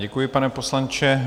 Děkuji, pane poslanče.